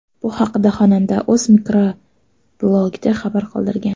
Bu haqda xonanda o‘z mikroblogida xabar qoldirgan .